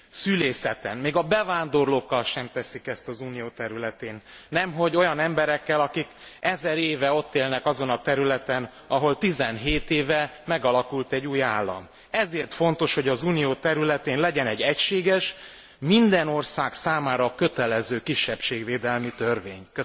szülészeten, még a bevándorlókkal sem teszik ezt az Unió területén, nemhogy olyan emberekkel, akik ezer éve ott élnek azon a területen, ahol 17 éve megalakult egy új állam. Ezért fontos, hogy az Unió területén legyen egy egységes, minden ország számára kötelező kisebbségvédelmi törvény.